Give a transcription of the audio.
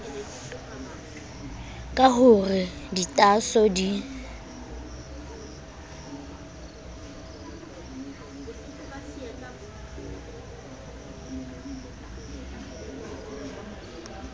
ka ho re ditaaso di